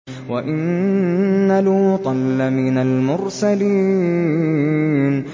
وَإِنَّ لُوطًا لَّمِنَ الْمُرْسَلِينَ